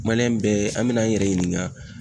Maliyɛn bɛɛ an ben' an yɛrɛ ɲininga